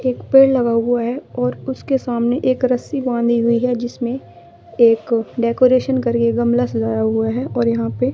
एक पेड़ लगा हुआ है और उसके सामने एक रस्सी बांधि हुई है जिसमे एक डेकोरेशन करके गमला सजाया हुआ है और यहां पे--